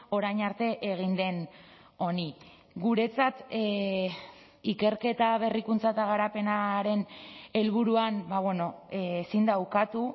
orain arte egin den honi guretzat ikerketa berrikuntza eta garapenaren helburuan ezin da ukatu